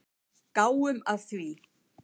Gáum að því.